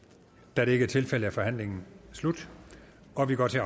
da det ikke er tilfældet er forhandlingen slut og vi går til